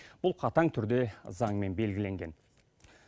бұл қатаң түрде заңмен белгіленген